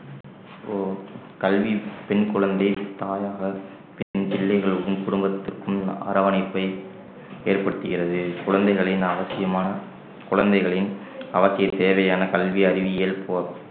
இப்போ கல்வி பெண் குழந்தை தாயாக பெண் பிள்ளைகளுக்கும் குடும்பத்திற்கும் அரவணைப்பை ஏற்படுத்துகிறது குழந்தைகளின் அவசியமான குழந்தைகளின் அவசிய தேவையான கல்வி அறிவியல் போ~